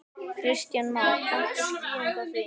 Kristján Már: Kanntu skýringu á því?